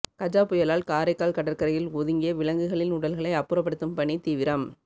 கஜா புயலால் காரைக்கால் கடற்கரையில் ஓயதுங்கிய விலங்குகளின் உடல்களை அப்புறப்படுத்தும் பணி தீவிரம்